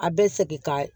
A bɛ segin ka